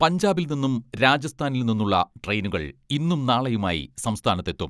പഞ്ചാബിൽ നിന്നും രാജസ്ഥാനിൽ നിന്നുള്ള ട്രെയിനുകൾ ഇന്നും നാളെയുമായി സംസ്ഥാനത്തെത്തും.